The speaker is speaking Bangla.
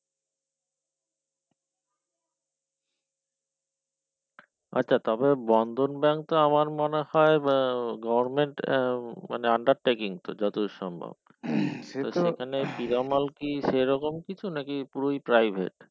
আচ্ছা তবে বন্ধন bank টা আমার মনে হয় আহ government আহ মানে undertaking তো যত দূর সম্ভব সেই রকম কিছু নাকি পুরোই private